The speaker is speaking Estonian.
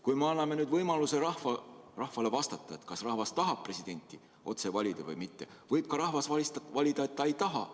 Kui me anname nüüd rahvale võimaluse vastata, kas ta tahab presidenti otse valida või mitte, siis võib rahvas ka vastata, et ta ei taha.